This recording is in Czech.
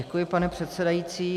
Děkuji, pane předsedající.